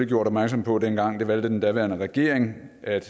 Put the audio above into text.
gjort opmærksom på dengang men det valgte den daværende regering at